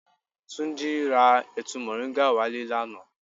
Túnjí ra ẹ̀tu moringa wá le lánàá.